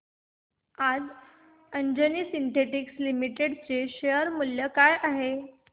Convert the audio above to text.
आज Anjani synthetics limited चे share मूल्य काय आहे